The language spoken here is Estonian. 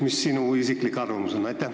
Mis sinu isiklik arvamus on?